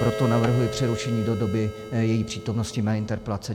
Proto navrhuji přerušení do doby její přítomnosti na interpelacích.